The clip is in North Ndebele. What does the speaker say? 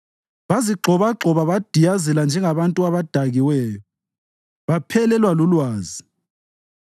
Bazigxobagxoba badiyazela njengabantu abadakiweyo; baphelelwa lulwazi.